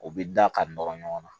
U bɛ da ka nɔrɔ ɲɔgɔn na